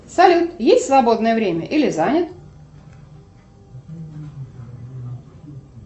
салют есть свободное время или занят